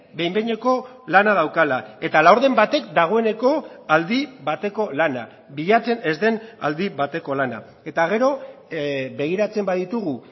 behin behineko lana daukala eta laurden batek dagoeneko aldi bateko lana bilatzen ez den aldi bateko lana eta gero begiratzen baditugu